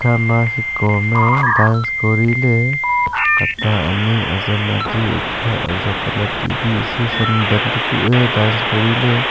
ekhama shiko ham e dance kori ley ata ani azam adi aga azok anat ebi e si san ban takuh e dance kori ley.